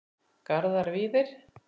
Garðar Víðir.